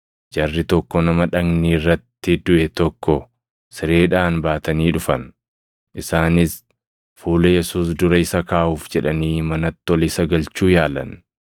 Jarri tokko nama dhagni irratti duʼe tokko sireedhaan baatanii dhufan; isaanis fuula Yesuus dura isa kaaʼuuf jedhanii manatti ol isa galchuu yaalan.